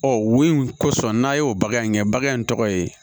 Ɔ wo in kosɔn n'a y'o bagan in kɛ bagan in tɔgɔ ye